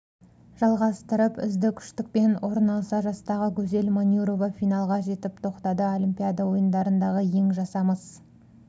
жалғастырып үздік үштіктен орын алса жастағы гузель манюрова финалға жетіп тоқтады олимпиада ойындарындағы ең жасамыс